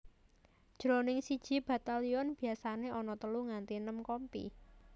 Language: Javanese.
Jroning siji batalyon biasané ana telu nganti enem kompi